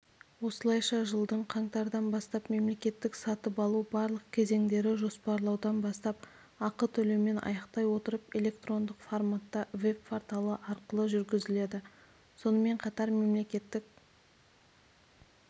осылайша жылдың қаңтардан бастап мемлекеттік сатып алу барлық кезендері жоспарлаудан бастап ақы төлеумен аяқтай отырып электрондық форматта веб-порталы арқылы жүргізіледі сонымен қатар мемлекеттік